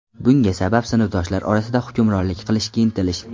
Bunga sabab sinfdoshlar orasida hukmronlik qilishga intilish.